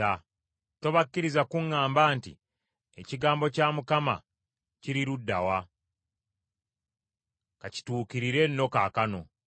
Tobakkiriza kuŋŋamba nti, “Ekigambo kya Mukama kiri ludda wa? Ka kituukirire nno kaakano!”